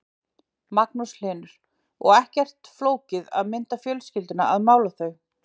Magnús Hlynur: Og ekkert flókið að mynda fjölskylduna að mála þau?